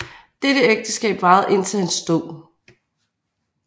Dette ægteskab varede indtil hans død